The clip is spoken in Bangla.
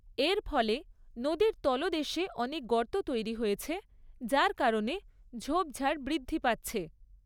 এর ফলে নদীর তলদেশে অনেক গর্ত তৈরি হয়েছে যার কারণে ঝোপঝাড় বৃদ্ধি পাচ্ছে ।